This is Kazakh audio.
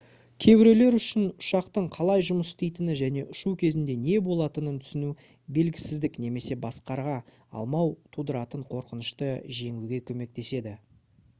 кейбіреулер үшін ұшақтың қалай жұмыс істейтіні және ұшу кезінде не болатынын түсіну белгісіздік немесе басқара алмау тудыратын қорқынышты жеңуге көмектеседі